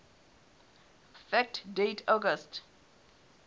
fact date august